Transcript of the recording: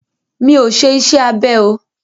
Mi ọ̀ ṣe iṣẹ́ abẹ o.